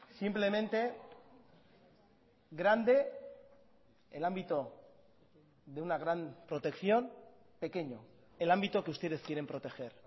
simplemente grande el ámbito de una gran protección pequeño el ámbito que ustedes quieren proteger